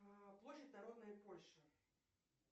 площадь народная польша